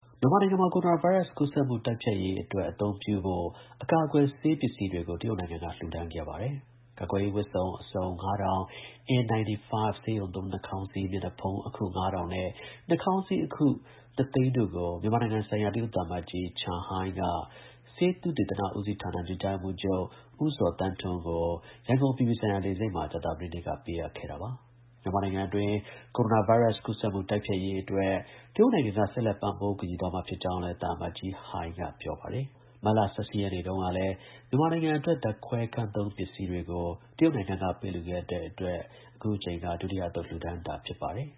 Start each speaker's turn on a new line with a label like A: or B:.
A: မြန်မာနိုင်ငံမှာ ကိုရိုနာဗိုင်းရပ်စ် ကူးစက်မှုတိုက်ဖျက်ရေး အတွက်လို အပ်တဲ့ အကာအကွယ်ဆေးပစ္စည်းတွေကို တရုတ်နိုင်ငံက လှူဒါန်းခဲ့ပါတယ်။ ကာကွယ်ရေး ဝတ်စုံ အစုံ ၅၀၀၀ ၊ N95ဆေးရုံသုံး နှာခေါင်းစည်း မျက်နှာဖုံး အခု ၅၀၀၀ နဲ့နှာခေါင်းစည်း အခု ၂ သိန်းတို့ကိုမြန်မာနိုင်ငံဆိုင်ရာ တရုတ်သံအမတ်ကြီး Chen Hai က ဆေးသုတေသန ဉီးစီးဌာန ညွှန်ကြားရေးမှူးချုပ် ဉီးဇော်သန်းထွန်း ကို ရန်ကုန်အပြည်ပြည်ဆိုင်ရာ လေဆိပ်မှာ ကြာသပတေးနေ့က ပေးအပ်ခဲ့ပါတယ်။ မြန်မာနိုင်ငံတွင်း ကိုရိုနာဗိုင်းရပ်စ် ကူးစက်မှုတိုက်ဖျက်ရေး အတွက် တရုတ်နိုင်ငံက ဆက်လက်ပံ့ပိုး ကူညီသွားမှာ ဖြစ်ကြောင်းလည်း သံအမတ်ကြီး Chen Hai က ပြောပါတယ်။ ပြီးခဲ့တဲ့ မတ်လ ၁၈ရက်နေ့တုန်းကလည်း မြန်မာနိုင်ငံအတွက် ဓါတ်ခွဲခန်းသုံး ပစ္စည်းတွေကို တရုတ်ကပေးလှူခဲ့တဲ့အတွက် အခုက ဒုတိ
B: ယ အသုတ်လှူဒါန်းတာ ဖြစ်ပါတယ်။